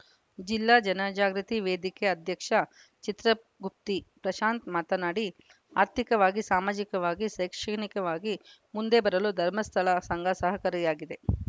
ಜಿಲ್ಲಾ ಜನಜಾಗೃತಿ ವೇದಿಕೆ ಅಧ್ಯಕ್ಷ ಚಿತ್ರಗುಪ್ತಿ ಪ್ರಶಾಂತ್‌ ಮಾತನಾಡಿ ಆರ್ಥಿಕವಾಗಿ ಸಾಮಾಜಿಕವಾಗಿ ಶೈಕ್ಷಣಿಕವಾಗಿ ಮುಂದೆ ಬರಲು ಧರ್ಮಸ್ಥಳ ಸಂಘ ಸಹಕಾರಿಯಾಗಿದೆ